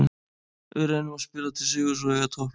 Við reynum að spila til sigurs og eiga toppleik.